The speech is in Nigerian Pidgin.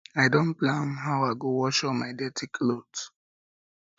i don plan how i go wash all my dirty cloth